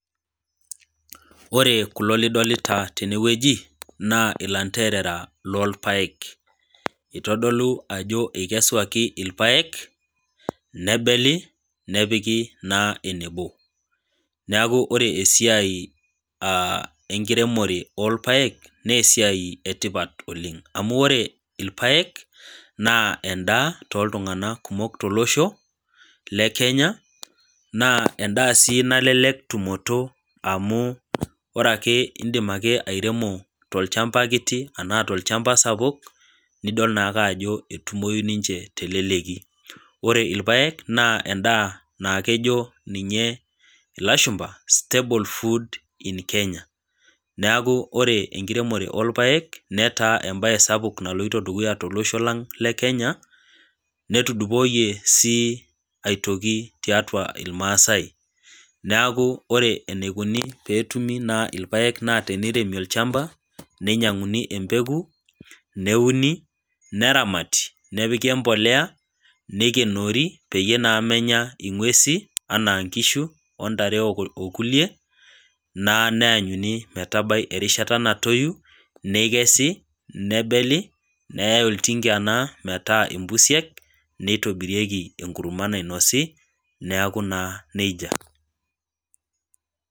Ore kulo lidolita teene wueji naa ilanderera loolpaek, eitodolu ajo eikeswaki ilpaek, nebeli, nepiki naa enebo, neaku ore esiai enkiremore olpaek, naa esiai etipat oleng' amu ore ilpaek, naa endaa tooltung'ana kumok oleng' tolosho le Kenya naa daa sii nalelek tumoto amu ore ake indim airemo tolchamba kiti anaa tolchamba sapuk, nidol naake ajo etumoi ninche te eleleki. Ore ilpaek naa endaa naa kejo ninye ilashumba staple food in Kenya. Neaku ore enkiremore olpaek netaa embae sapuk naloito dukuya tolosho lang' le Kenya netudupoiye sii aitoki tiatua ilmaasai, neaku ore eneikuni naa pee etumi ilpaek naa teneiremi olchmba, neinyang'uni embeku, neuni, neramati, nepiki empolea, neikenoori peyie naa menya ing'uesi, anaa inkishu o ntare o kulie naa neanyuni naa metabai erishata natoyu, nekesi ,nebeli neyai olting'a naa metaa impusiek, neitobirieki enkurma nainosi, neaku naa neija.